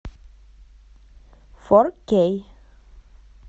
фор кей